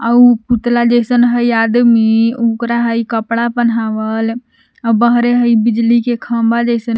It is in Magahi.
उ पुतला जैसन हइ आदमी ओकरा हइ कपड़ा पहनावल बहरे हइ बिजली के खंभा जैसन --